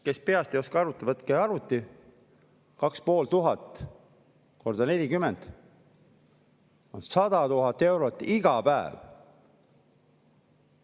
Kes peast ei oska arvutada, võtke arvuti, 2500 × 40, see teeb 100 000 eurot iga päev.